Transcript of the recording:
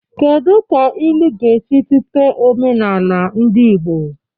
Kedu ka ilu ga-esi tụte omenala ndị Igbo?